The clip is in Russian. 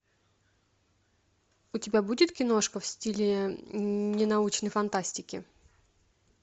у тебя будет киношка в стиле ненаучной фантастики